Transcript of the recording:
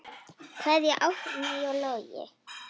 Kveðja, Árný og Logi.